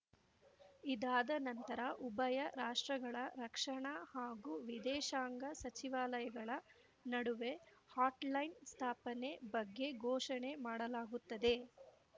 ಇದಾದ ನಂತರ ಉಭಯ ರಾಷ್ಟ್ರಗಳ ರಕ್ಷಣಾ ಹಾಗೂ ವಿದೇಶಾಂಗ ಸಚಿವಾಲಯಗಳ ನಡುವೆ ಹಾಟ್‌ಲೈನ್‌ ಸ್ಥಾಪನೆ ಬಗ್ಗೆ ಘೋಷಣೆ ಮಾಡಲಾಗುತ್ತದೆ